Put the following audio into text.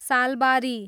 Salbari